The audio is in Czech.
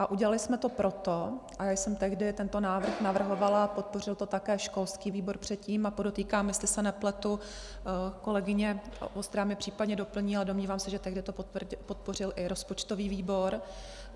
A udělali jsme to proto - a já jsem tehdy tento návrh navrhovala a podpořil to také školský výbor předtím, a podotýkám, jestli se nepletu, kolegyně Vostrá mě případně doplní, ale domnívám se, že tehdy to podpořil i rozpočtový výbor.